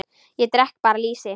Ég drekk bara lýsi!